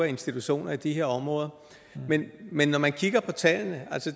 institutioner i de her områder men når man kigger på tallene